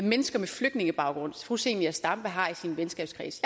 mennesker med flygtningebaggrund fru zenia stampe har i sin venskabskreds